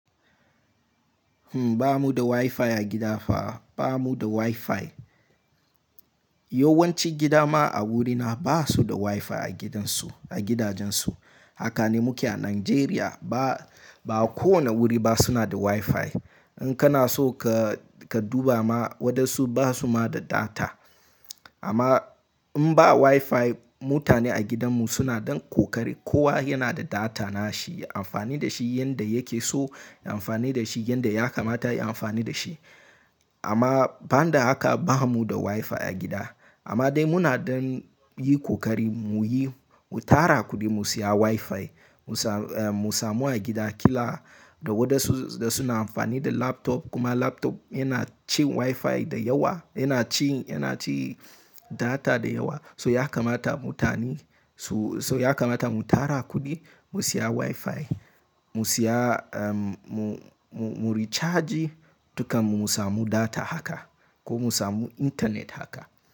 Hmm, ba mu da Wi-Fi a gida fa, ba mu da Wi-Fi. Yawan ci gida ma a wurina ba su da Wi-Fi a gidansu, a gidajensu. Haka ne muke a Najeriya. Ba, ba kowanne guri ba suna da Wi-Fi. In kana so ka, ka duba ma wadansu ba su ma da data. Amma in ba Wi-Fi, mutane a gidanmu suna dan kokari. Kowa yana da data na shi, ya amfani da shi yanda yake so, ya amfani da shi yanda ya kamata ya amfani da shi. Amma banda haka ba mu da Wi-Fi a gida. Amma dai muna dan yin kokari mu yi, mu tara kuɗi mu siya Wi-Fi. Mu sa, mu samu a gida kila. Da wadansu da suna amfani da laptop kuma laptop yana cin Wi-Fi da yawa, yana ci, yana ci data da yawa. So ya kamata mutane su, so ya kamata mu tara kuɗi mu siya Wi-Fi, mu siya, mu, mu recharge duka mu samu data haka ko mu samu internet haka.